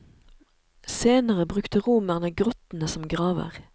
Senere brukte romerne grottene som graver.